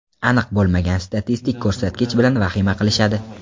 Aniq bo‘lmagan statistik ko‘rsatkich bilan vahima qilishadi.